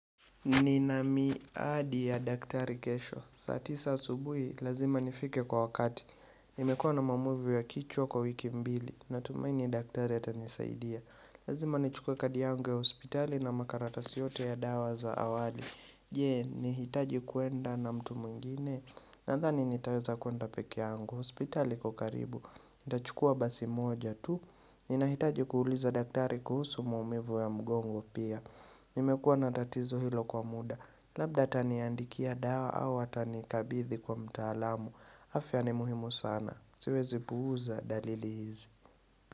Ni na miadi ya daktari kesho. Saa tisa asubuhi, lazima nifike kwa wakati. Nimekuwa na maamivu ya kichwa kwa wiki mbili. Natumai ni daktari ya tanisaidia. Lazima nichukue kadi yangu ya hospitali na makaratasi yote ya dawa za awali. Je, nihitaji kwenda na mtu mwingine? Nandhani nitaweza kwenda peke yangu. Hospitali iko karibu. Nitachukua basi moja tu. Ninahitaji kuuliza daktari kuhusu muumivu ya mgongo pia. Nimekuwa natatizo hilo kwa muda Labda taniandikia dawa au atanikabithi kwa mtaalamu, afya ni muhimu sana. Siwezi puuza dalili hizi.